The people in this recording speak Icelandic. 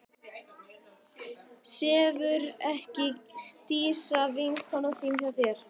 Sefur ekki Dísa, vinkona þín, hjá þér?